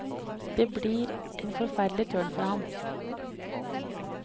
Det blir en forferdelig tørn for ham.